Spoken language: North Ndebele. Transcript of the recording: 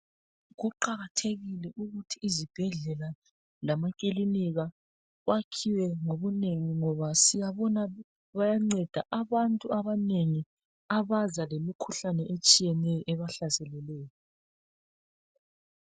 Kuqakathekile ukuthi izibhedlela lama kilinika kwakhiwe ngobunengi ngoba siyabona bayanceda abantu abanengi abaza lemikhuhlane etshiyeneyo ebahlaselileyo.